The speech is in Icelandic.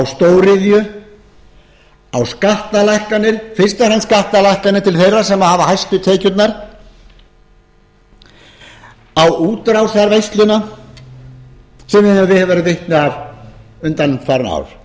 á stóriðju á skattalækkanir fyrst og fremst skattalækkanir til þeirra sem hafa hæstu tekjurnar á útrásarveisluna sem við höfum verið vitni að undanfarin ár